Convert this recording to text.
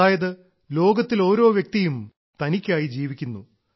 അതായത് ലോകത്തിൽ ഓരോ വ്യക്തിയും തനിക്കായി ജീവിക്കുന്നു